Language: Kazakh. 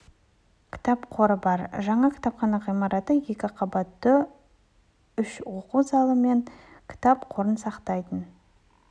кітап қоры бар жаңа кітапхана ғимараты екі қабатты үш оқу залы мен кітап қорын сақтайтын